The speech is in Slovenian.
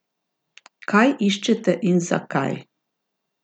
Kaj iščete in zakaj?